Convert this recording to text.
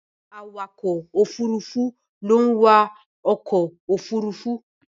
Awakọ̀ Òfurufú ló ń wa ọkọ òfurufú.